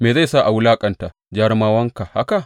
Me zai sa a wulaƙanta jarumawanka haka?